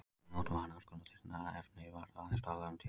Ef notað var annars konar þynnra efni var aðeins talað um tjöld.